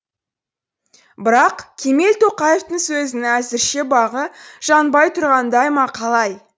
бірақ кемел тоқаевтың сөзінің әзірше бағы жанбай тұрғандай ма қалай